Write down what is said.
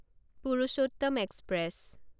Purushottam express